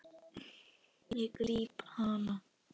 Ég gríp hana.